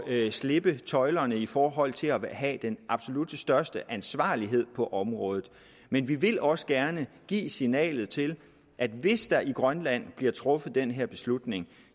at slippe tøjlerne i forhold til at have den absolut største ansvarlighed på området men vi vil også gerne give signalet til at hvis der i grønland bliver truffet den her beslutning